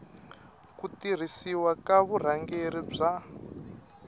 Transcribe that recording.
ku tirhisiwa ka vurhangeri bya